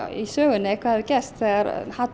í sögunni hvað hefur gerst þegar hatur